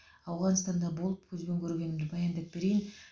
ауғанстанда болып көзбен көргенімді баяндап берейін